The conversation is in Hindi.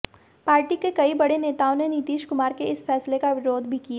पार्टी के कई बड़े नेताओं ने नीतीश कुमार के इस फैसले का विरोध भी किया